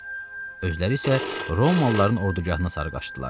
Özləri isə Romalıların ordugahına sarıqlaşdılar.